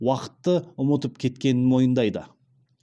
уақытты ұмытып кеткенін мойындайды